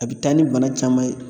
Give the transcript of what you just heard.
A bɛ taa ni bana caman ye.